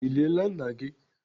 Ị liela nna gị?